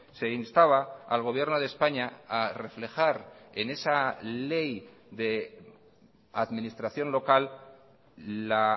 se instaba al gobierno de españa a reflejar en esa ley de administración local la